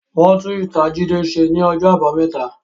Wọn tún ítàa Jídé ṣe ní ọjọ́ àbámẹ́ta